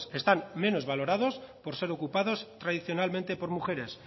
están menos valorados por ser ocupados tradicionalmente por mujeres